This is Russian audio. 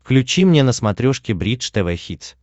включи мне на смотрешке бридж тв хитс